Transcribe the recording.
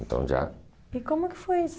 Então, já... E como é que foi isso?